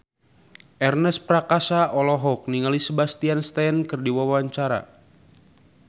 Ernest Prakasa olohok ningali Sebastian Stan keur diwawancara